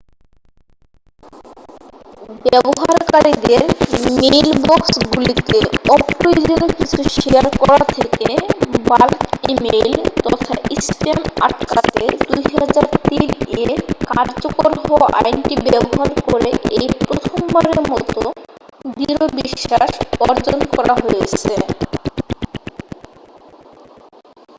ব্যবহারকারীদের মেইলবক্সগুলিতে অপ্রয়োজনীয় কিছু শেয়ার করা থেকে বাল্ক ইমেইল তথা স্প্যাম আটকাতে 2003 এ কার্যকর হওয়া আইনটি ব্যবহার করে এই প্রথমবারের মতো দৃঢ় বিশ্বাস অর্জন করা হয়েছে